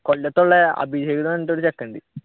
കൊല്ലത്തുള്ള ഒരു ചെക്കനുണ്ട്.